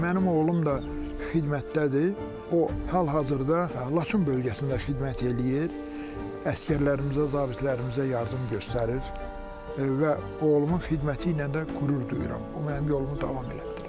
Mənim oğlum da xidmətdədir, o hal-hazırda Laçın bölgəsində xidmət eləyir, əsgərlərimizə, zabitlərimizə yardım göstərir və oğlumun xidməti ilə də qürur duyuram, o mənim yolumu davam elətdirir.